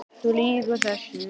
Þú lýgur þessu!